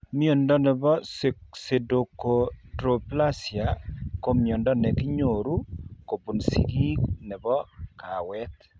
Mnondo nebo Pseudoachondroplasia ko mnyondo nekinyoru kobun sigiik nebo kawet